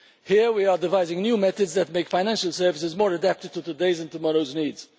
Here, we are devising new methods that make financial services more geared to today's and tomorrow's needs.